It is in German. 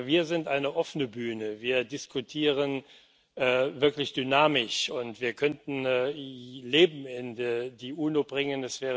Wir sind eine offene Bühne, wir diskutieren wirklich dynamisch, und wir könnten Leben in die UNO bringen.